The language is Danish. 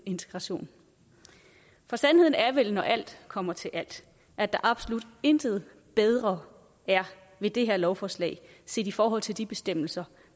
integration for sandheden er vel når alt kommer til alt at der absolut intet bedre er ved det her lovforslag set i forhold til de bestemmelser